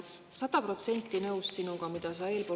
Olen sada protsenti nõus sinuga, sellega, mida sa oled kõnelenud.